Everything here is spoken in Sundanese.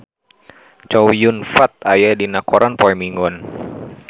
Chow Yun Fat aya dina koran poe Minggon